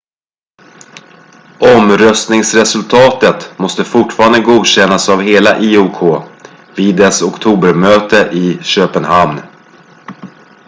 omröstningsresultatet måste fortfarande godkännas av hela iok vid dess oktobermöte i köpenhamn